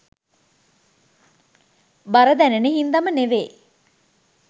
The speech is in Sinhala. බර දැනෙන හින්දම නෙමේ.